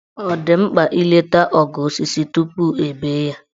Ọ dị mkpa ileta ogo osisi tupu e bee ya?